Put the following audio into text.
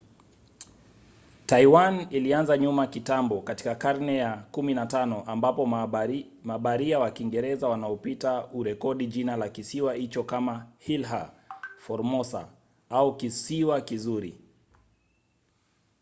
taiwan ilianza nyuma kitambo katika karne ya 15 ambapo mabaharia wa kiingereza wanaopita hurekodi jina la kisiwa hicho kama ilha formosa au kisiwa kizuri